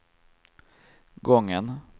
gången